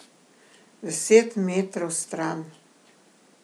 Deset metrov stran.